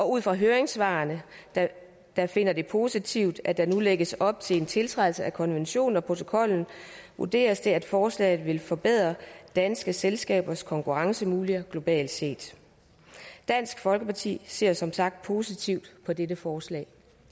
ud fra høringssvarene der finder det positivt at der nu lægges op til en tiltrædelse af konventionen og protokollen vurderes det at forslaget vil forbedre danske selskabers konkurrencemuligheder globalt set dansk folkeparti ser som sagt positivt på dette forslag